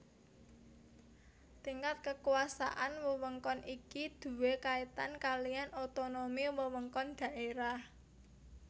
Tingkat kekuasaan wewengkon iki duwé kaitan kaliyan otonomi wewengkon daerah